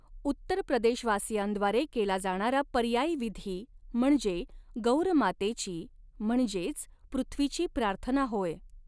उत्तर प्रदेशवासियांद्वारे केला जाणारा पर्यायी विधी म्हणजे 'गौर मातेची' म्हणजेच पृथ्वीची प्रार्थना होय.